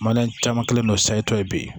Mana caman kɛlen don sayitɔ ye bi